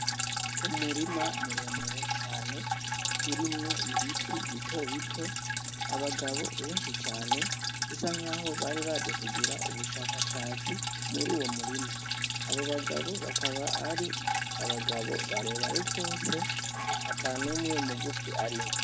Umurima muremure cane urimwo ibiti bitobito, abagabo benshi cane bisa nkaho bari baje kugira ubushakashatsi muruwo murima, abo bagabo bakaba ari abagabo barebare gose atanumwe mugufi arimwo.